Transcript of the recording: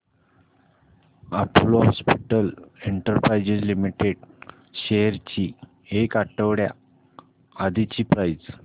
Apollo Hospitals Enterprise Limited shares ची एक आठवड्या आधीची प्राइस